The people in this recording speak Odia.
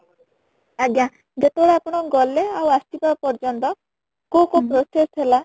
ଆଜ୍ଞା ଯେତେବେଳେ ଆପଣ ଗଲେ ଆଉ ଆସିବା ପର୍ଯ୍ୟନ୍ତ କୋଉ କୋଉ process ହେଲା ?